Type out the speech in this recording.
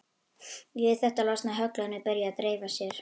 Við þetta losna höglin og byrja að dreifa sér.